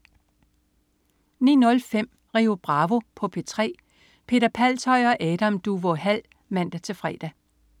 09.05 Rio Bravo på P3. Peter Palshøj og Adam Duvå Hall (man-fre)